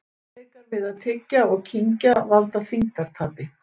Erfiðleikar við að tyggja og kyngja valda þyngdartapi.